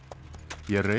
ég reið